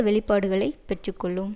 வெளிப்பாடுகளைப் பெற்று கொள்ளும்